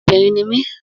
Obìnrin ni mí